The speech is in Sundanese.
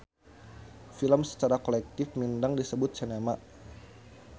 Film sacara kolektif mindeng disebut sinema.